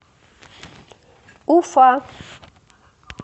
уфа